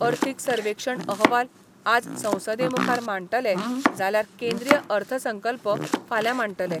अर्थीक सर्वेक्षण अहवाल आज संसदेमुखार मांडटले जाल्यार केंद्रीय अर्थसंकल्प फाल्यां मांडटले.